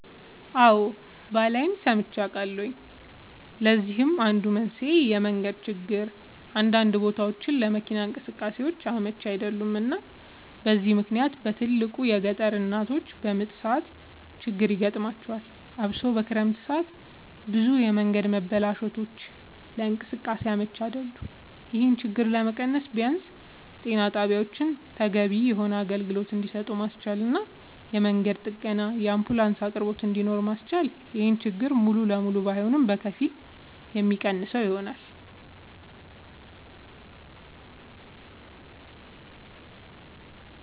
አወ ባላይም ሰምቼ አውቃለሁኝ ለዚህም አንዱ መንስኤ የመንገድ ችግር አንዳንድ ቦታወች ለመኪና እንቅስቃሴ አመች አይደሉም እና በዚህ ምክንያት በትልቁ የገጠር እናቶች በምጥ ሰዓት ችግር ይገጥማቸዋል አብሶ በክረምት ሰዓት ብዙ የመንገድ መበላሸቶች ለእንቅስቃሴ አመች አይደሉም ይሄን ችግር ለመቀነስ ቢያንስ ጤና ጣቢያወችን ተገቢውን የሆነ አገልግሎት እንድሰጡ ማስቻልና የመንገድ ጥገናና የአንቡላንስ አቅርቦት እንድኖር ማስቻል ይሄን ችግር ሙሉ ለሙሉ ባይሆንም በከፊል የሚቀንሰው ይሆናል